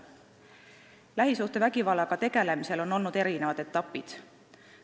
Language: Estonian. Lähisuhtevägivallaga tegelemisel on olnud erinevaid etappe.